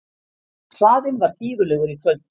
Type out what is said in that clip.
Hraðinn var gífurlegur í kvöld